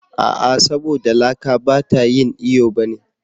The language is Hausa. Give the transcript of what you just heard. A'a! saboda laka ba ta yin iyo ba ne.